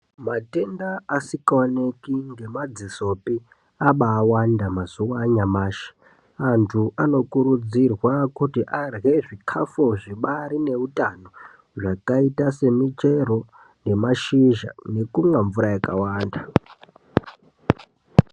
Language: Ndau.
Matenda asikaoneki ngemadzisopi abawanda mazuva anyamashi. Antu anokurudzirwa kuti arye zvikafu zvibaari neutano zvakaita semichero nemashizha nekunwa mvura yakawanda.